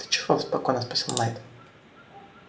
ты чего спокойно спросил найд